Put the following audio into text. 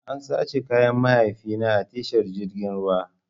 An sace kayan mahaifina a tashar jirgin ruwan.